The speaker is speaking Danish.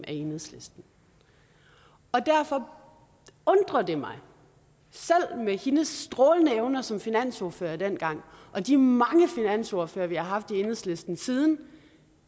af enhedslisten og derfor undrer det mig selv med hendes strålende evner som finansordfører dengang og de mange finansordførere vi har haft i enhedslisten siden